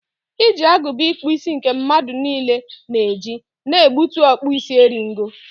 iji agụba ịkpụ isi nke mmadụ niile na-eji na ebute ọkpụ isi eri ngo.